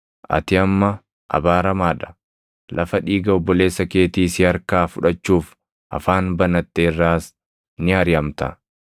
Ati amma abaaramaa dha; lafa dhiiga obboleessa keetii si harkaa fudhachuuf afaan banatte irraas ni ariʼamta.